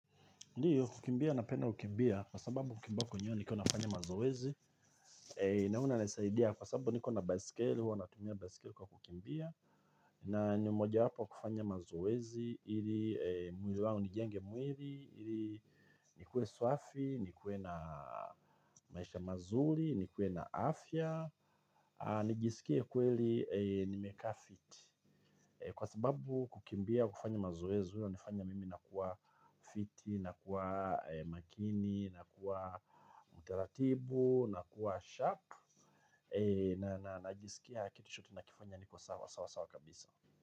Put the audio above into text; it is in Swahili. Ndiyo, kukimbia napenda kukimbia, kwa sababu kukimbia kwenyewe nikiwa nafanya mazoezi, naona inanisaidia kwa sababu niko na baiskeli, huwa natumia baiskeli kwa kukimbia, na ni mojawapo yakufanya mazoezi, ili mwili wangu nijenge mwili, ili nikuwe swafi, nikuwe na maisha mazuri, nikuwe na afya, nijisikie kweli nimekaa fit. Kwa sababu kukimbia kufanya mazoezi, huwa inafanya mimi na kuwa fit, na kuwa makini, na kuwa mtaratibu, na kuwa sharp na najisikia kitu shot nakifanya niko sawa sawa sawa kabisa.